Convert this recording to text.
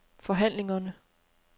forhandlingerne